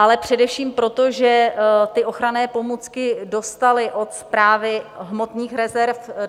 Ale především proto, že ty ochranné pomůcky dostaly od Správy hmotných rezerv.